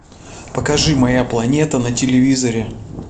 покажи моя планета на телевизоре